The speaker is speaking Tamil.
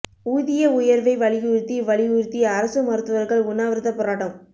ஊதிய உயர்வை வலியுறுத்தி வலியுறுத்தி அரசு மருத்துவர்கள் உண்ணாவிரதப் போராட்டம்